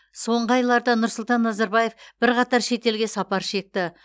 соңғы айларда нұрсұлтан назарбаев бірқатар шетелге сапар шекті